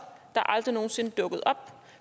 der aldrig nogen sinde dukkede op